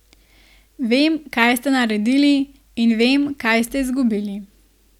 Vem, kaj ste naredili, in vem, kaj ste izgubili.